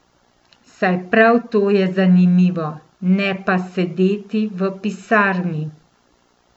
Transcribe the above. Saj prav to je zanimivo, ne pa sedeti v pisarni.